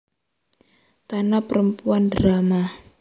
Tanah Perempuan drama